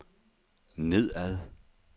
nedad